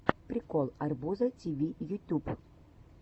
прикол арбуза тиви ютюб